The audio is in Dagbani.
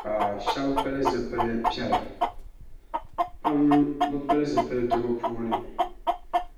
ka shaba pili zipli piɛla pam bi pili zipilsi bi puuni